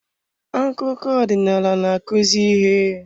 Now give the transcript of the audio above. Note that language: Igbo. Akụkọ ọdịnala na-akụzi ihe.